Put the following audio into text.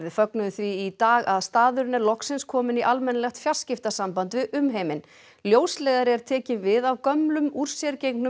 fögnuðu því í dag að staðurinn er loksins kominn í almennilegt fjarskiptasamband við umheiminn ljósleiðari er tekinn við af gömlum úr sér gengnum